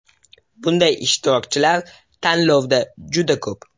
Bunday ishtirokchilar tanlovda juda ko‘p.